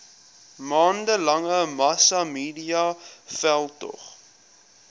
maande lange massamediaveldtog